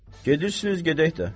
Gedirsiniz, gedək də.